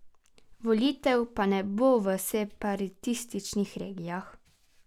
Volitev pa ne bo v separatističnih regijah.